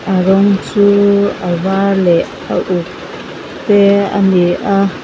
a rawng chu a var leh a uk te a ni a.